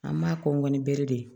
An b'a kɔn ni bere de ye